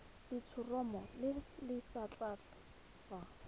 letshoroma le le setlha fa